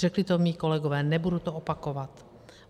Řekli to moji kolegové, nebudu to opakovat.